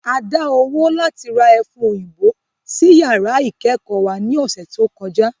A dá owó láti ra ẹfun òyìnbó sí yàrá ìkẹ́kọ̀ọ́ wa ní ọ̀sẹ̀ tó kọjá